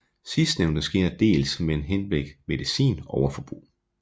Sidstnævnte sker dels men henblik medicin overforbrug